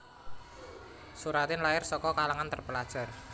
Soeratin lair saka kalangan terpelajar